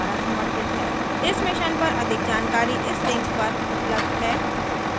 इस mission पर अधिक जानकारी इस लिंक पर उपलब्ध है